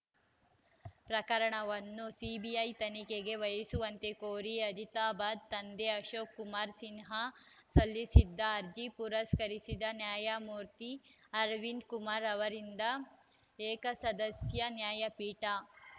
ಪ್ರಕರಣವನ್ನು ಸಿಬಿಐ ತನಿಖೆಗೆ ವಹಿಸುವಂತೆ ಕೋರಿ ಅಜಿತಾಬ್‌ ತಂದೆ ಅಶೋಕ್‌ ಕುಮಾರ್‌ ಸಿನ್ಹಾ ಸಲ್ಲಿಸಿದ್ದ ಅರ್ಜಿ ಪುರಸ್ಕರಿಸಿದ ನ್ಯಾಯಮೂರ್ತಿ ಅರವಿಂದ ಕುಮಾರ್‌ ಅವರಿದ್ದ ಏಕಸದಸ್ಯ ನ್ಯಾಯಪೀಠ